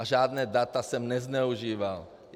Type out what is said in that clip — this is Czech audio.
A žádná data jsem nezneužíval.